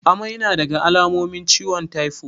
Amai nadaga alamomin ciwon taifo